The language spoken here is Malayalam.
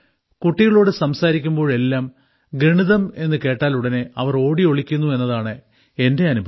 കുട്ടികളോട് സംസാരിക്കുമ്പോഴെല്ലാം ഗണിതം എന്ന് കേട്ടാലുടനെ അവർ ഓടിയൊളിക്കുന്നു എന്നതാണ് എന്റെ അനുഭവം